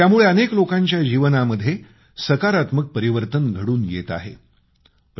आणि त्यामुळं अनेक लोकांच्या जीवनामध्ये सकारात्मक परिवर्तन घडून येत आहे